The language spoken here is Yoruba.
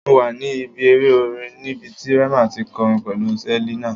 Mo wa ni ibi ere orin nibiti Rema ti kọrin pẹlu Selina